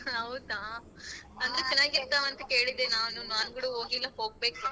ಹೌದಾ ಅಂತ ಕೇಳಿದ್ದೆ ನಾನೂನು ನಾನ್ ಕೂಡ ಹೋಗಿಲ್ಲ ಹೋಗ್ಬೇಕು.